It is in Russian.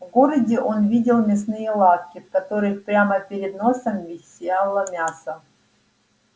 в городе он видел мясные лавки в которых прямо перед носом висело мясо